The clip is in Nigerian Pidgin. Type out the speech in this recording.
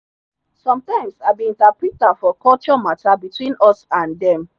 sometimes i be interpreter for culture matter between us and dem.